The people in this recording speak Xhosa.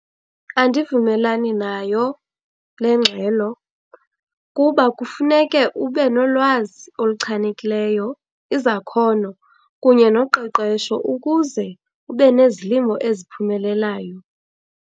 Andivumelani nayo le ngxelo kuba kufuneke ube nolwazi oluchanekileyo, izakhono kunye noqeqesho ukuze ube nezilimo eziphumelelayo.